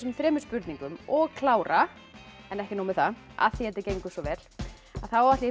þremur spurningum og klára en ekki nóg með það af því þetta gengur svo vel þá ætla ég